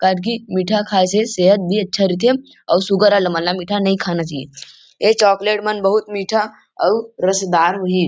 कडघी मिठा खाये से सेहत भी अच्छा रईथे अऊ सुगर वाला मन ल मीठा नहीं खाना चाहिए ये चॉकलेट मन बहुत मीठा अऊ रसदार होही।